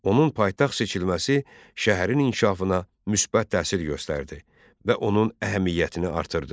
Onun paytaxt seçilməsi şəhərin inkişafına müsbət təsir göstərdi və onun əhəmiyyətini artırdı.